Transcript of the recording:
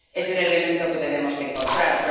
Es el elemento que tenemos que encontrar.